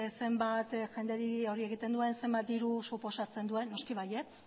zenbat jenderi hori egiten duen zenbat diru suposatzen duen noski baietz